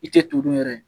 I tɛ turu yɛrɛ ye